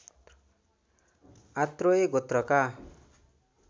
Atreya गोत्रका